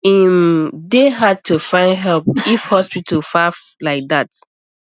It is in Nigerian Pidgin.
e um dey hard to find help if um hospital far like that